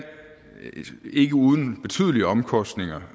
ikke uden betydelige omkostninger